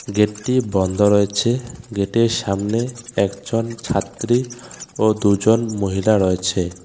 গেটটি বন্ধ রয়েছে গেটের সামনে একজন ছাত্রী ও দুজন মহিলা রয়েছে.